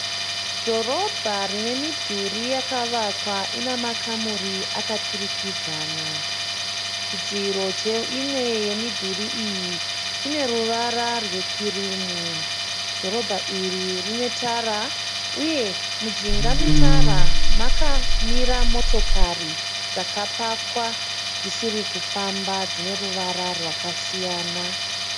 Dhorobha rine midhuri yakavakwa ina makamuri akaturikidzana. Chidziro cheimwe yemidhuri iyi chine ruvara rwekirimu. Dhorobha iri rine tara uye mujinga metara makamira motokari dzakapakwa dzisiri kufamba dzine ruvara rwakasiyana.